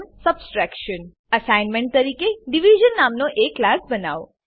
subtraction assignment તરીકે division નામનો એક ક્લાસ બનાવો